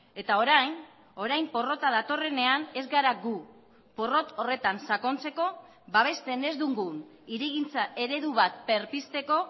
eta orain orain porrota datorrenean ez gara gu porrot horretan sakontzeko babesten ez dugun hirigintza eredu bat berpizteko